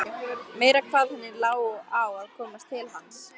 Meira hvað henni lá á að komast til hans!